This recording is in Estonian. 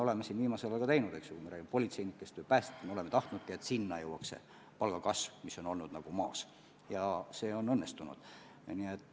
Samas me oleme viimasel ajal üht-teist teinud, eks ole – me räägime politseinikest ja päästjatest, me oleme tahtnud, et ka nendeni jõuaks palgakasv, ja see on õnnestunud.